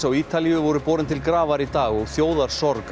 á Ítalíu voru borin til grafar í dag og